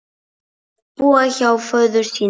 Búa hjá föður sínum?